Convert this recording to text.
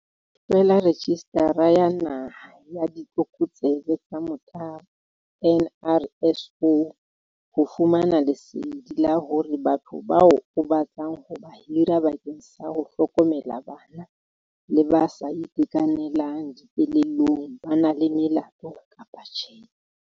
Hlwela registara ya Naha ya Ditlokotsebe tsa Motabo NRSO ho fumana lesedi la hore batho bao o batlang ho ba hira bakeng sa ho hlokomela bana le ba sa itekanelang dikelellong ba na le melato kapa tjhe.